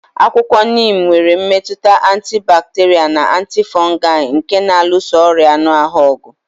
Akwụkwọ Neem nwere mmetụta antibacterial na antifungal nke na-alụso ọrịa anụ ahụ ọgụ.